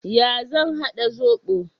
Ya zan haɗa zoɓo?